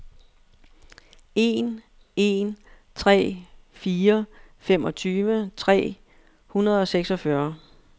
en en tre fire femogtyve tre hundrede og seksogfyrre